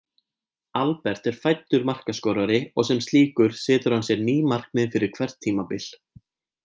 Albert er fæddur markaskorari og sem slíkur setur hann sér ný markmið fyrir hvert tímabil.